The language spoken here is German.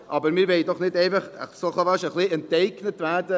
Aber wir wollen doch nicht einfach so fast ein wenig enteignet werden.